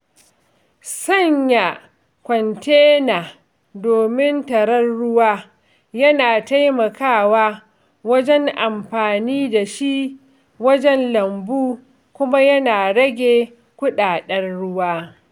Sanya kwantena domin tattara ruwa yana taimakawa wajen amfani da shi wajen lambu kuma yana rage kudaden ruwa.